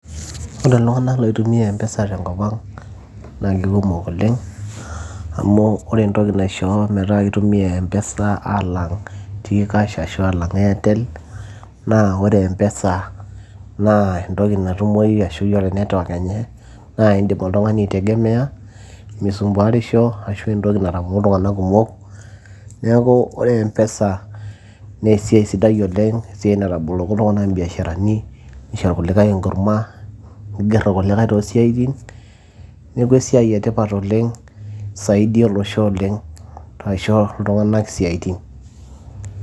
ore iltung'anak loi tumia mpesa tenkop ang' naa kikumok oleng' amu ore entoki naisho metaa ki tumia mpesa alang' t-kash ashu alang airtel naa ore mpesa naa entoki natumoyu ashu yiolo network enye naa indim oltung'ani aitegemeya misumbuarisho ashu entoki natapong'o iltung'anak kumok neeku ore mpesa naa esiai sidai oleng' esiai nataboloko iltung'anak imbiasharani nisho irkulikae enkurma nigerr irkulikae tosiaitin neku esiai etipat oleng' isaidia olosho oleng' aisho iltung'anak isiaitin.